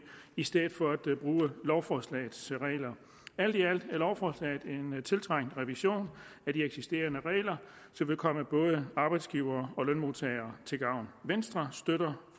i stedet for at bruge lovforslagets regler alt i alt er lovforslaget en tiltrængt revision af de eksisterende regler som vil komme både arbejdsgivere og lønmodtagere til gavn venstre støtter